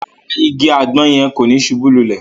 Ràrá, ìgi àgbọn yẹn ko ni subú lulè